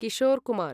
Kishore Kumar